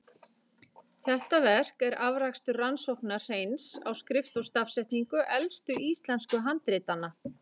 Þetta verk er afrakstur rannsókna Hreins á skrift og stafsetningu elstu íslensku handritanna.